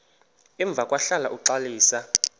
emva kwahlala uxalisa